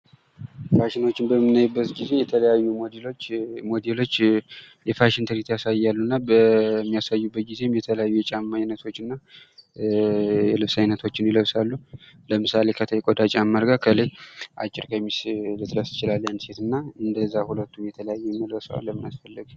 ፋሽኖችን በምናይበት ጊዜ ሞዴሎች የፋሽን ትርኢቶችን ያሳያሉና በሚያሳዩበት ጊዜ የተለያዩ ጫማዎችን እና ልብሶችን ይለብሳሉ። ለምሳሌ ከታች ቆዳ ጫማ አድርጋ ከላይ አጭር ቀሚስ ልትለብስ ትችላለች። እና እንደዛ መልበስ ለምን አስፈለገ?